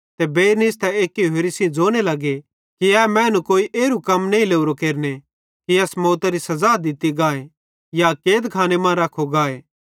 ते बेइर निस्तां एक्की होरि सेइं ज़ोने लगे कि ए मैनू कोई एरू कम त नईं लोरो केरने कि एस मौतरी सज़ा दित्ती गाए या कैदखाने मां रखो गाए